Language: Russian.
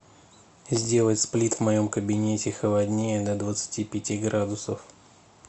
сделать сплит в моем кабинете холоднее до двадцати пяти градусов